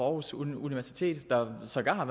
aarhus universitet der sågar har